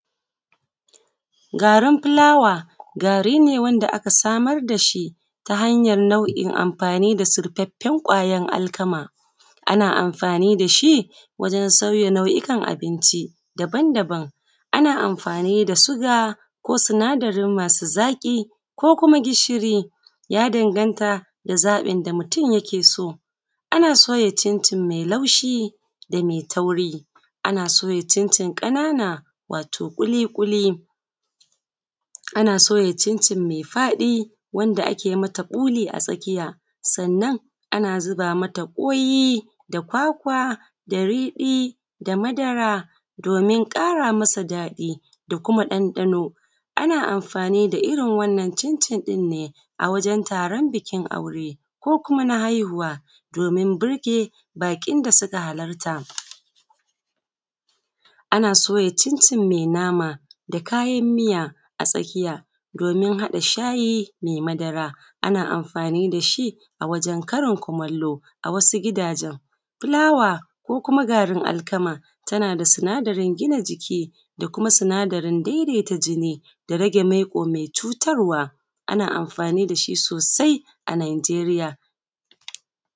garin fulawa gari ne da aka samar da shi ta hanyar nau’in amfani da surfaffen ƙwayan alkama ana amfani da shi wajen sauya nau’ikan abinci daban daban ana amfani da suga ko sinadari masu zaƙi ko kuma gishiri ya danganta da zaɓin da mutum yake so ana soya cincin mai laushi da mai tauri ana soya cincin ƙanana wato ƙuliƙuli ana soya cincin mai faɗi wanda ake mata ɓuli a tsakiya sannan ana zuba mata ƙoyi da kwakwa da riɗi da madara domin ƙara masa daɗi da kuma ɗanɗano ana amfani da irin wannan cincin ɗin ne a wajen taron bukin aure ko kuma na haihuwa domin burge baƙin da suka halarta ana soya cincin mai nama da kayan miya a tsakiya domin haɗa shayi mai madara ana amfani da shi a wajen karin kumallo a wasu gidajen fulawa ko kuma garin alkama tana da sinadarin gina jiki da kuma sinadarin daidaita jini da rage maiƙo mai cutarwa ana amfani da shi sosai a nigeria